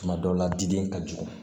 Tuma dɔw la diden ka jugu